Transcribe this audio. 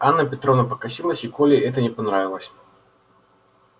анна петровна покосилась и коле это не понравилось